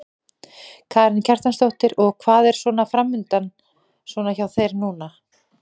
Karen Kjartansdóttir: Og hvað er svona framundan svona hjá þér núna?